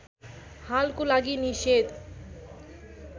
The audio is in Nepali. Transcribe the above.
हालको लागि निषेध